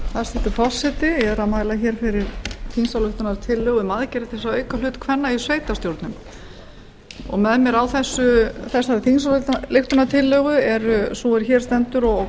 hæstvirtur forseti ég er að mæla fyrir þingsályktunartillögu um aðgerðir til að auka hlut kvenna í sveitarstjórnum með mér á þessari þingsályktunartillögu er sú sem hér stendur og